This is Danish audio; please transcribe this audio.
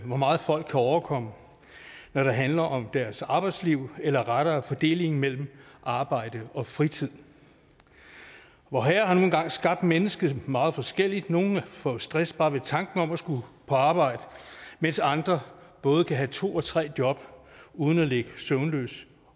hvor meget folk kan overkomme når det handler om deres arbejdsliv eller rettere fordelingen mellem arbejde og fritid vorherre har nu engang skabt mennesket meget forskelligt nogle får stress bare ved tanken om at skulle på arbejde mens andre både kan have to og tre job uden at ligge søvnløse